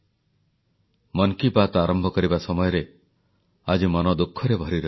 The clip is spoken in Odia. ଜଗତସିଂହପୁରର ଶହୀଦ ପ୍ରସନ୍ନ ସାହୁଙ୍କ ଅଦମ୍ୟ ସାହସ ଓ ପତ୍ନୀଙ୍କ ଧୈର୍ଯ୍ୟକୁ ସଲାମ କରୁଛି ସାରା ଦେଶ